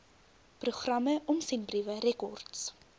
programme omsendbriewe rekords